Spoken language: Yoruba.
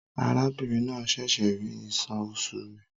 Arábìnrin náà ṣẹ̀ṣẹ̀ rí ìṣàn oṣù rẹ̀.